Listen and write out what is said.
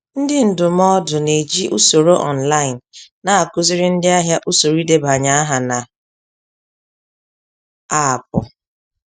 Ndị ndụmọdụ n'eji usoro online na-akụziri ndị ahịa usoro idebanye aha na aapụ